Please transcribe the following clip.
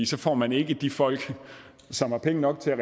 så får man ikke de folk som har penge nok til at